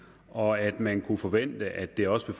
og at man kunne forvente at det også